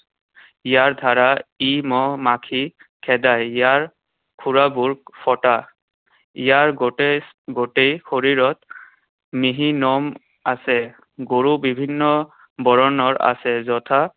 ইয়াৰ দ্বাৰা ই মহ, মাখি খেদায়। ইয়াৰ খুড়াবোৰ ফটা। ইয়াৰ গোটেই গোটেই শৰীৰত মিহি নোম আছে। গৰু বিভিন্ন বৰণৰ আছে, যথা